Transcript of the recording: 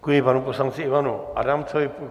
Děkuji panu poslanci Ivanu Adamcovi.